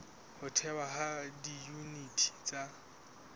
ho thehwa ha diyuniti tsa